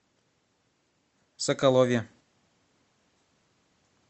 соколове